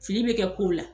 Fili bɛ kɛ kow la